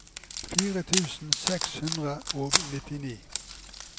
fire tusen seks hundre og nittini